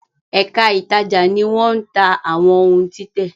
Èka ítàjà ní wón tá àwọn òún títè